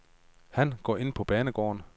Han går ind på banegården.